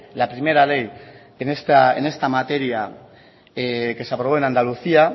la primera ley en esta materia que se aprobó en andalucía